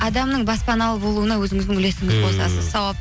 адамның баспаналы болуына өзіңіздің үлесіңізді қосасыз сауап